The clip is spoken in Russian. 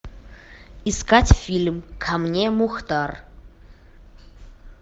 искать фильм ко мне мухтар